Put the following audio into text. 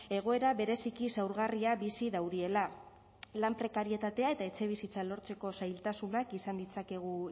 egoera bereziki zaurgarria bizi dauriela lan prekarietatea eta etxebizitza lortzeko zailtasunak izan ditzakegu